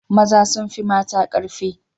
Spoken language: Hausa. Maza sun fi mata karfi